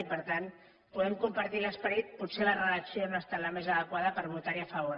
i per tant podem compartir l’esperit potser la redacció no ha estat la més adequada per votar hi a favor